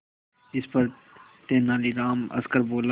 इस पर तेनालीराम हंसकर बोला